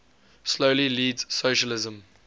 slowly leads socialism